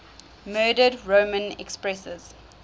murdered roman empresses